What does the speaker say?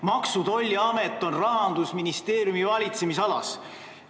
Maksu- ja Tolliamet on Rahandusministeeriumi valitsemisalas.